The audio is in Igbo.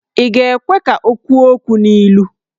Ị ga-ekwe ka o kwuo okwu n'ilu?